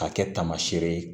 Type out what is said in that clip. K'a kɛ tamasɛ ye